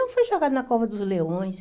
foi jogado na cova dos leões.